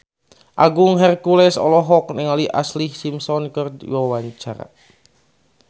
Agung Hercules olohok ningali Ashlee Simpson keur diwawancara